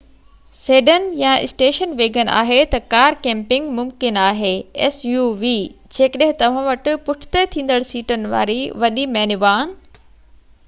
جيڪڏهن توهان وٽ پُٺتي ٿيندڙ سيٽن واري وڏي مينيوان suv سيڊان يا اسٽيشن ويگن آهي ته ڪار ڪيمپنگ ممڪن آهي